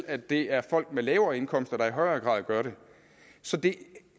at det er folk med lavere indkomster der i højere grad gør det så det